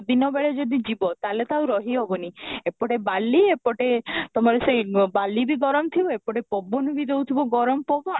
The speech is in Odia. ଦିନ ବେଳେ ଯଦି ଯିବ ତାହେଲେ ତ ଆଉ ରହି ହେବନି ଏପଟେ ବାଲି ଏପଟେ ତମର ସେଇ ବାଲି ବି ଗରମ ଥିବ ଏପଟେ ଗରମ ବି ଥିବ ଗରମ ପବନ